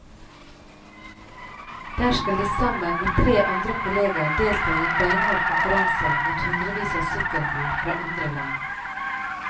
Der skal de sammen med tre andre kolleger delta i en beinhard konkurranse mot hundrevis av sykkelbud fra andre land.